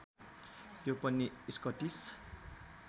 त्यो पनि स्कटिश